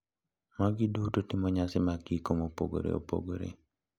Magi duto timo nyasi mag iko mopogore opogore.